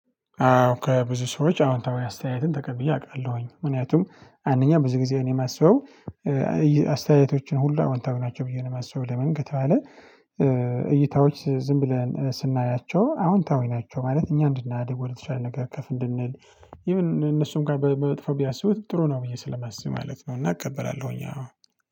አዎ ከብዙ ሰዎች አሁን ተወያይ አስተያየትን ተቀብዬ አቃለሁኝ ምክንያቱም አንደኛ ብዙ ጊዜ እኔ ማስበው አስተያየቶችን ሁሉ አዎንታዊ ናቸው ብዬ ነው የማስበው። ለምን ከተባለ ባለ እይታዎች ዝም ብለን ስናያቸው አዎንታዊ ናቸው ማለት እኛ እንድናድግ ወደተሻለ ነገር ከፍ እንድንል። ኢቭን እነሱም ጋር በመጥፎ ቢያስቡት ጥሩ ነው ብዬ ስለማስብ ማለት ነው። እና እቀበላለሁኝ አዎ